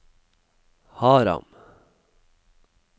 Haram